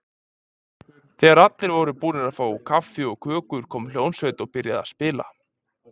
Þegar allir voru búnir að fá kaffi og kökur kom hljómsveit og byrjaði að spila.